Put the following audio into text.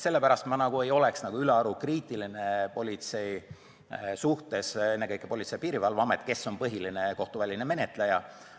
Sellepärast ma ei oleks ülearu kriitiline politsei, ennekõike Politsei- ja Piirivalveameti suhtes, kes on põhiline kohtuväline menetleja.